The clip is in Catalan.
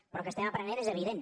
però que n’estem aprenent és evident